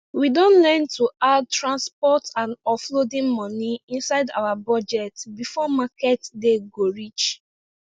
we don learn to add transport and offloading money inside our budget before market day go reach